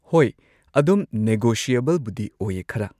ꯍꯣꯏ ꯑꯗꯨꯝ ꯅꯦꯒꯣꯁꯤꯌꯦꯕꯜꯕꯨꯗꯤ ꯑꯣꯏꯌꯦ ꯈꯔ